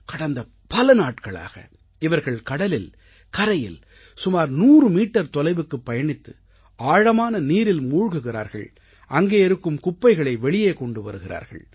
கடந்த பல நாட்களாக இவர்கள் கடலில் கரையில் சுமார் 100 மீட்டர் தொலைவுக்குப் பயணித்து ஆழமான நீரில் மூழ்குகிறார்கள் அங்கே இருக்கும் குப்பைகளை வெளியே கொண்டு வருகிறார்கள்